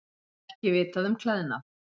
Ekki vitað um klæðnað